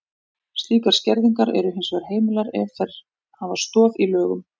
Slíkar skerðingar eru hins vegar heimilar ef þær hafa stoð í lögum.